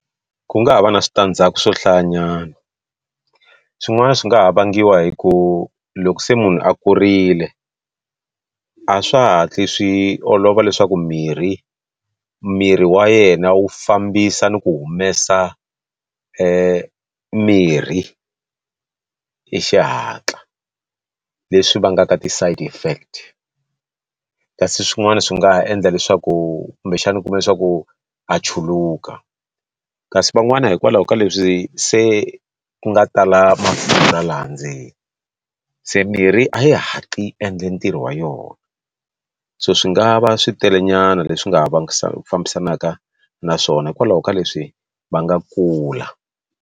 Ku nga ha va na switandzhaku swo hlayanyana swin'wana swi nga ha vangiwa hi ku loko se munhu a kurile a swa ha hatli swi olova leswaku mirhi miri wa yena wu fambisa ni ku humesa mirhi hi xihatla leswi vangaka ti side effect kasi swin'wana swi nga ha endla leswaku kumbexana u kuma leswaku a chuluka kasi van'wana hikwalaho ka leswi se ku nga tala mafurha laha ndzeni se mirhi a yi hatli endla ntirho wa yona so swi nga va switele nyana leswi nga vavisaka fambisanaka naswona hikwalaho ka leswi va nga kula.